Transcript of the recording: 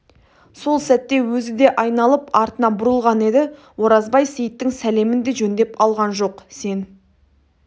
сол сәтте өзі де айналып артына бұрылған еді оразбай сейіттің сәлемін де жөндеп алған жоқ сен